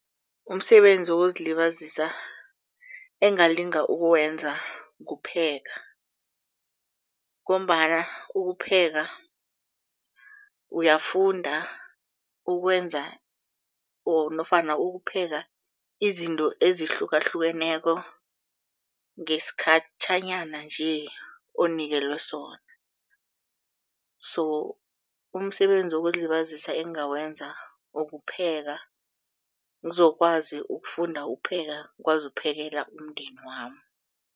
Umsebenzi wokuzilibazisa engingalinga ukwenza kupheka. Ngombana ukupheka uyafunda ukwenza or nofana ukupheka izinto ezihlukahlukeneko ngesikhatjhanyana nje onikelwe sona. So umsebenzi wokuzilibazisa engawenza ukupheka ngizokwazi ukufunda upheka kwazi uphekelela umndeni wami.